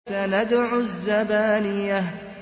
سَنَدْعُ الزَّبَانِيَةَ